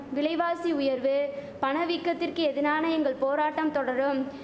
விலைவாசி உயர்வு பணவீக்கத்திற்கு எதினான எங்கள் போராட்டம் தொடரும்